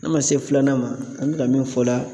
N'an man se filanan ma an bɛ ka min fɔ la